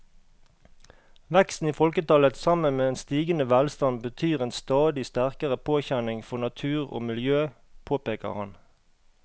Veksten i folketallet sammen med stigende velstand betyr en stadig sterkere påkjenning for natur og miljø, påpeker han.